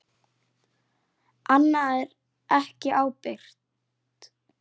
Annað er ekki ábyrgt.